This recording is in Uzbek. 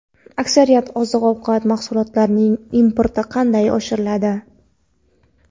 aksariyat oziq-ovqat mahsulotlarining importi qanday amalga oshiriladi?.